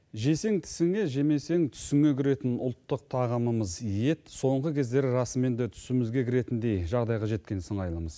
жесең тісіңе жемесең түсіңе кіретін ұлттық тағамымыз ет соңғы кезде расымен де түсімізге кіретіндей жағдайға жеткендей сыңайлымыз